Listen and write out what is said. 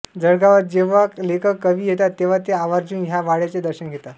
जळगावात जेव्हा लेखक कवी येतात तेव्हा ते आवर्जून ह्या वाड्याचे दर्शन घेतात